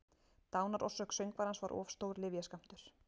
Dánarorsök söngvarans var of stór lyfjaskammtur